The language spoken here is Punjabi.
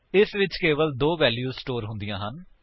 ਇਸਵਿੱਚ ਕੇਵਲ ਦੋ ਵੈਲਿਊ ਸਟੋਰ ਹੁੰਦੀਆਂ ਹਨ